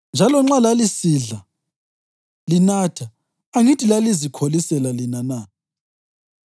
Njalo nxa lalisidla, linatha, angithi lalizikholisela lina na?